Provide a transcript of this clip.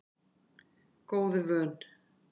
Góðu vön